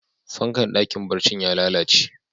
Fankan dakin barcin ya lallace.